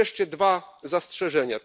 I wreszcie dwa zastrzeżenia.